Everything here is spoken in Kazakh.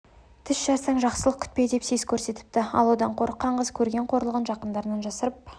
тіс жарсаң жақсылық күтпе деп сес көрсетіпті ал одан қорыққан қыз көрген қорлығын жақындарынан жасырып